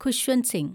Khushwant Singh